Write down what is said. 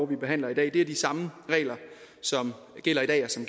vi behandler i dag er de samme regler som gælder i dag og som